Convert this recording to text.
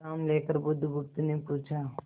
विश्राम लेकर बुधगुप्त ने पूछा